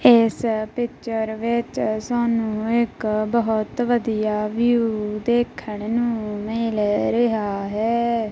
ਇਸ ਪਿਚਰ ਵਿੱਚ ਸਾਨੂੰ ਇੱਕ ਬਹੁਤ ਵਧੀਆ ਵਿਊ ਦੇਖਣ ਨੂੰ ਮਿਲ ਰਿਹਾ ਹੈ।